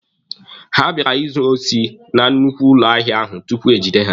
Ha bịara izu osi na nnukwu ụlọ ahịa ahụ tupu egide ha.